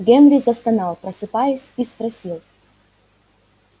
генри застонал просыпаясь и спросил